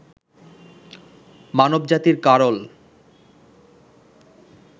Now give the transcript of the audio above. মানবজাতির কারল